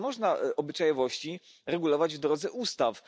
Nie można obyczajowości regulować w drodze ustaw.